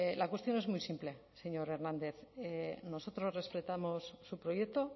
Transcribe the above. la cuestión es muy simple señor hernández nosotros respetamos su proyecto